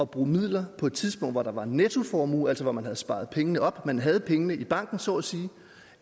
bruge midler på et tidspunkt hvor der var en nettoformue altså hvor man havde sparet pengene op man havde pengene i banken så at sige